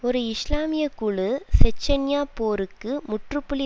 ஒரு இஸ்லாமிய குழு செச்சன்யா போருக்கு முற்றுப்புள்ளி